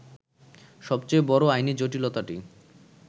সবচেয়ে বড় আইনি জটিলতাটি